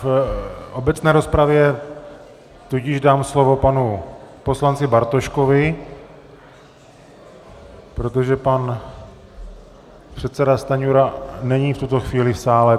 V obecné rozpravě tudíž dám slovo panu poslanci Bartoškovi, protože pan předseda Stanjura není v tuto chvíli v sále.